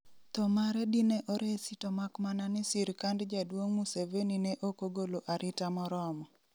Tho mare dine oresi to mak mana ni sirkand Jaduong' Museveni ne okogolo arita moromo